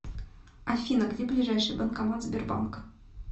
афина где ближайший банкомат сбербанк